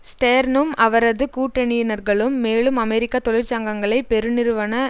ஸ்டேர்னும் அவரது கூட்டணியினர்களும் மேலும் அமெரிக்க தொழிற்சங்கங்களை பெருநிறுவன